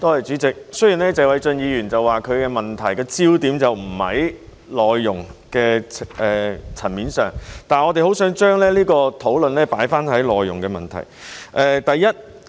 主席，雖然謝偉俊議員說這項質詢的焦點並非在內傭的層面上，但我們希望將這項討論放在內傭的問題。